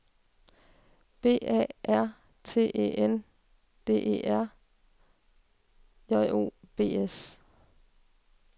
B A R T E N D E R J O B S